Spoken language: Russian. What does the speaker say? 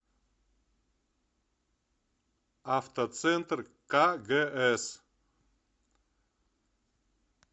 автоцентр кгс